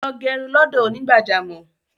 Lọ gẹrun lọ́dọ̀ onígbàjámọ̀